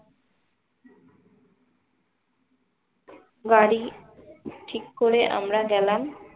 গাড়ি ঠিক করে আমরা গেলাম